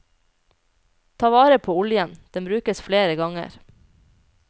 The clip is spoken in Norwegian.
Ta vare på oljen, den brukes flere ganger.